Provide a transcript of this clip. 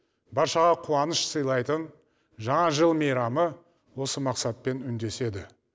баршаға қуаныш сыйлайтын жаңа жыл мейрамы осы мақсатпен үндеседі